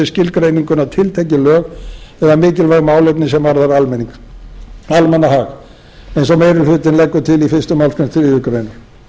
skilgreininguna tiltekin lög eða mikilvægt málefni sem varðar almannahag eins og meiri hlutinn leggur til í fyrstu málsgrein þriðju grein